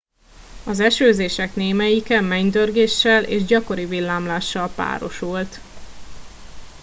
az esőzések némelyike mennydörgéssel és gyakori villámlással párosult